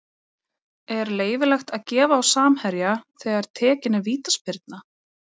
Er leyfilegt að gefa á samherja þegar tekin er vítaspyrna?